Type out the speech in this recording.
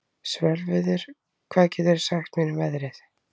Svörfuður, hvað geturðu sagt mér um veðrið?